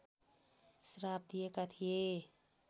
श्राप दिएका थिए